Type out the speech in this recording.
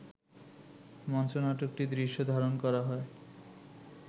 মঞ্চনাটকটির দৃশ্য ধারণ করা হয়